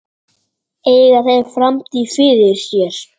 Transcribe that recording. Eiga þeir framtíð fyrir sér?